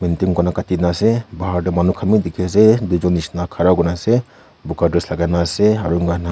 bahar teh manu khan bi dikhi ase duijun nishina khara kurina ase buka dress lagaina ase aru inaka huina.